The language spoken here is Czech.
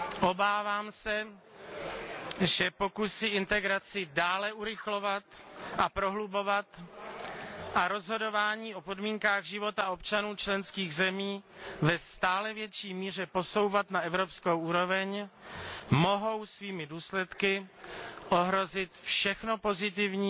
Obávám se, že pokusy integraci dále urychlovat a prohlubovat a rozhodování o podmínkách života občanů členských zemí ve stále větší míře posouvat na evropskou úroveň mohou svými důsledky ohrozit všechno pozitivní,